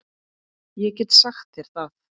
Ég get sagt þér það